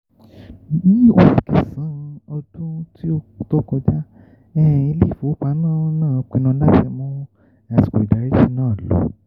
ní oṣù kẹsàn-án ọdún tí ó tó kọjá um ilé-ìfowópamọ́ náà pinnu láti mú àsìkò ìdáríjì náà lọ.